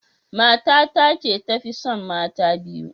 Matan ta ce ta Fi tson mata biyu.